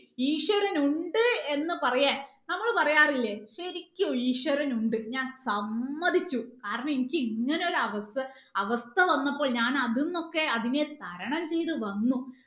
ഈശ്വരൻ ഉണ്ട് എന്ന് പറയാൻ നമ്മൾ പറയാറില്ലേ ശരിക്കും ഈശ്വരൻ ഉണ്ട് ഞാൻ സമ്മതിച്ചു കാരണം എനിക്ക് ഇങ്ങനെ ഒരു അവസ്ഥ അവസ്ഥ വന്നപ്പോൾ ഞാൻ അതിനൊക്കെ അതിനെ തരണം ചെയ്ത് വന്നു